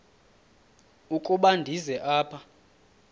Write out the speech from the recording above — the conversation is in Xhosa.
ukuba ndize apha